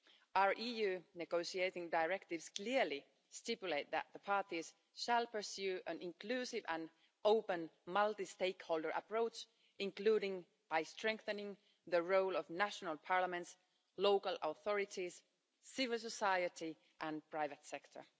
Our EU negotiating directives clearly stipulate that the parties shall pursue an inclusive and open multi-stakeholder approach, including by strengthening the role of national parliaments, local authorities, civil society and the private sector.